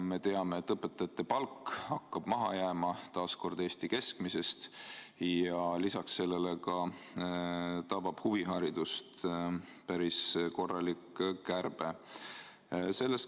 Me teame, et õpetajate palk hakkab taas kord maha jääma Eesti keskmisest ja lisaks sellele tabab ka huviharidust päris korralik kärbe.